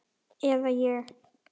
Eða ég.